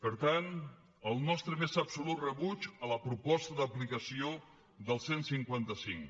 per tant el nostre més absolut rebuig a la proposta d’aplicació del cent i cinquanta cinc